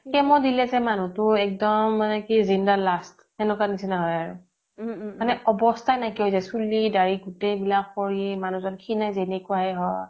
chemo দিলে যে মানুহটো একদম মানে কি জিন্দা লাছ তেনেকুৱা নিছিনা হৈ আৰু মানে অৱস্থা নাইকিয়া হৈ যায় চুলি দাড়ি গোটেই বিলাক সৰি মানুহজন খিনাই যেনেকোৱা যে হয়